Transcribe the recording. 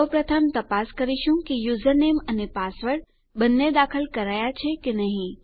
સૌપ્રથમ તપાસ કરીશું કે યુઝરનેમ અને પાસવર્ડ બંને દાખલ કરાયા છે કે નહી